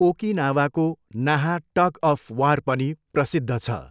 ओकिनावाको Naha tug of war पनि प्रसिद्ध छ।